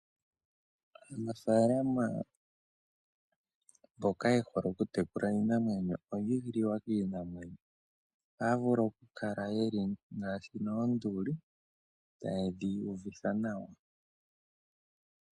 Aanafaalama mboka ye hole okutekula iinamwenyo oyi igililwa kiinamwenyo. Ohaa vulu okukala ye li ngaashi noonduli taye dhi uvitha nawa.